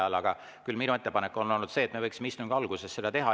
Küll aga on minu ettepanek olnud see, et me võiksime seda istungi alguses teha.